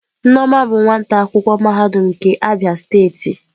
Nneoma bụ nwata akwụkwọ mahadum nke Abia steeti.